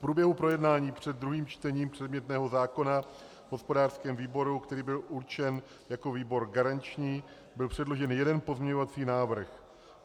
V průběhu projednání před druhým čtením předmětného zákona v hospodářském výboru, který byl určen jako výbor garanční, byl předložen jeden pozměňovací návrh.